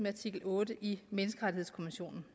artikel otte i menneskerettighedskonventionen